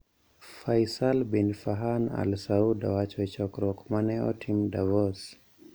Faisal Bin Farhan al Saud owacho e chokruok ma ne otim Davos